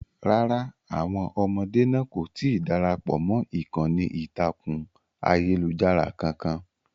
Rárá, àwọn ọmọdé náà kò tí ì darapọ̀ mọ́ ìkànnì ìtàkùn ayélujára kankan.